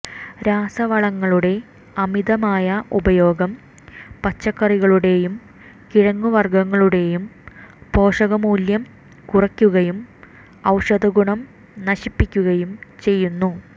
രാസവളങ്ങളുടെ അമിതമായ ഉപയോഗം പച്ചക്കറികളുടേയും കിഴങ്ങുവർഗ്ഗങ്ങളുടേയും പോഷകമൂല്യം കുറയ്ക്കുകയും ഔഷധഗുണം നശിപ്പിക്കുകയും ചെയ്യുന്നു